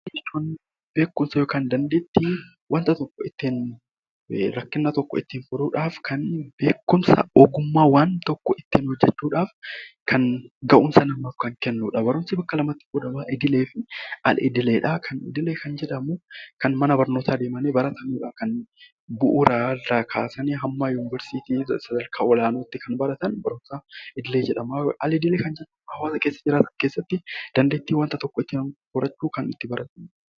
Barumsa jechuun beekumsa yookiin dandeettii ittiin rakkina tokko ittiin furuudhaaf beekumsa ogummaa waan tokko ittiin hojjachuudhaaf gahumsa kan namaaf kennudha. Barumsi bakka lamatti qoodama idilee fi al-idileedha. Idilee kan jedhamu mana barnootaa deemanii kan baratan jechuudha kan bu'uura irraa kaasanii haga yuunivarsiitii sadarkaa olaanaatti kan baratan barnoota idilee jedhama. Al-idilee kan jedhamu hawaasa keessa jiraatan keessatti dandeettii wanta tokko barachuu kan itti horannudha.